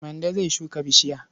Mande zai shuka bishiya.